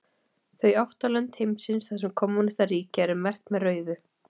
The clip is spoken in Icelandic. Þau átta lönd heimsins þar sem kommúnistar ríkja eru merkt með rauðu.